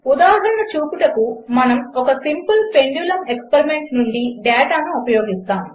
ఉదాహరణ చూపుటకు మనము ఒక సింపిల్ పెండులుం ఎక్స్పెరిమెంట్ నుండి డేటాను ఉపయోగిస్తాము